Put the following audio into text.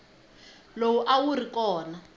lowu a wu ri kona